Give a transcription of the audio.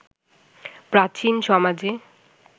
প্রাচীন সমাজে